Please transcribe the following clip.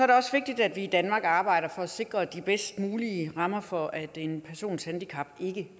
det også vigtigt at vi i danmark arbejder for at sikre de bedst mulige rammer for at en persons handicap ikke